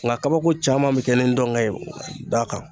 Nga kabako caman be kɛ ni ndɔnkɛ ye da kan